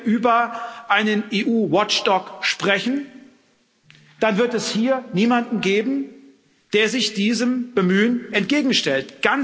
Wenn wir über einen EU Watchdog sprechen, dann wird es hier niemanden geben, der sich diesem Bemühen entgegenstellt.